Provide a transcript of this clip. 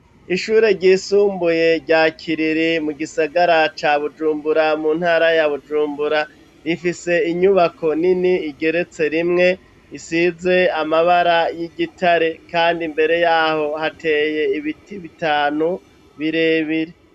Ishure ry'isumbuye rya Kiriri mu gisagara ca Bujumbura mu ntara ya Bujumbura rifise inyubako nini igeretse rimwe isize amabara y'igitare kandi imbere yaho hateye ibiti bitanu birebire